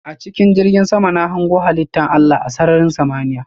A chikin jirgin sama na hango halitta Allah a sarrarin samaniya.